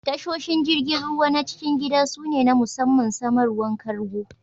Tashoshin jirigin ruwa na' cikin gida su ne na musamman samarwan kargo.